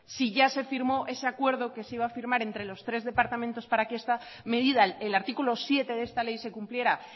si ya se firmó ese acuerdo que se iba a firmar entre los tres departamentos para que esta medida el artículo siete de esta ley se cumpliera